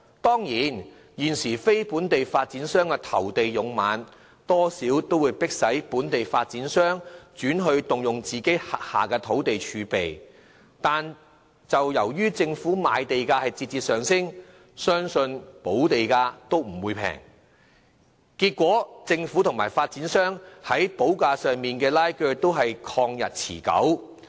當然，現時非本地發展商投地勇猛，多少迫使本地發展商轉而動用自己的土地儲備，但由於政府賣地價節節上升，相信補地價亦不會便宜，結果政府和發展商在補價上的拉鋸便曠日持久。